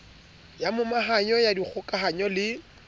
ya momahanyo ya dikgokahanyo le